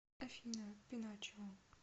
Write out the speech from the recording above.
афина пиночио